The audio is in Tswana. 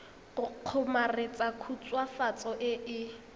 go kgomaretsa khutswafatso e e